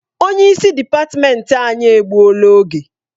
Onye isi dịpatmenti anyị egbuola oge.